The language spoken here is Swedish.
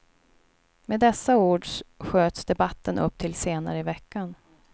Med dessa ord sköts debatten upp till senare i veckan.